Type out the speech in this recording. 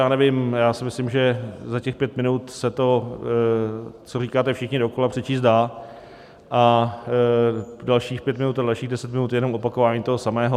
Já nevím, já si myslím, že za těch pět minut se to, co říkáte všichni dokola, přečíst dá a dalších pět minut a dalších deset minut je jenom opakování toho samého.